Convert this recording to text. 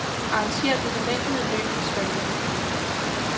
Arrangér dokumentet i løbende spalter.